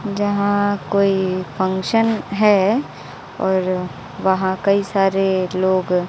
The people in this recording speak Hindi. जहां कोई फंक्शन है और वहां कई सारे लोग--